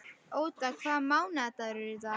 Óda, hvaða mánaðardagur er í dag?